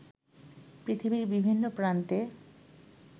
পৃথিবীর বিভিন্ন প্রান্তে